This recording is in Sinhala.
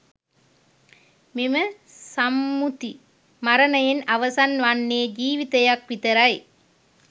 මෙම සම්මුති මරණයෙන් අවසන් වන්නේ ජීවිතයක් විතරයි.